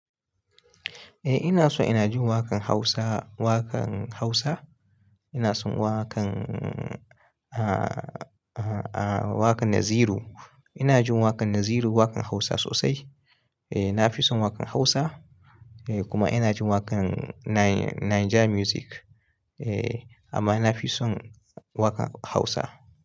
Eh ina so, ina jin waƙan Hausa, waƙan Hausa. Ina son waƙan a, a, a waƙan Naziru. Ina jin waƙan Naziru, waƙan Hausa sosai. Eh na fi son waƙan Hausa eh kuma ina jin waƙan Nai- Naija Music. Eh amma na fi son waƙan Hausa.